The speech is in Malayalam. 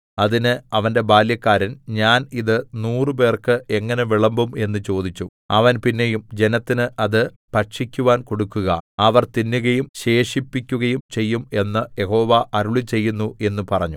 അതിന് അവന്റെ ബാല്യക്കാരൻ ഞാൻ ഇത് നൂറുപേർക്ക് എങ്ങനെ വിളമ്പും എന്ന് ചോദിച്ചു അവൻ പിന്നെയും ജനത്തിന് അത് ഭക്ഷിക്കുവാൻ കൊടുക്കുക അവർ തിന്നുകയും ശേഷിപ്പിക്കുകയും ചെയ്യും എന്ന് യഹോവ അരുളിച്ചെയ്യുന്നു എന്ന് പറഞ്ഞു